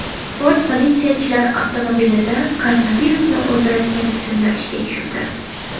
Ford politsiyachilar avtomobilida koronavirusni o‘ldiradigan tizimni ishga tushirdi.